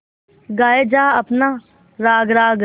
गाये जा अपना राग राग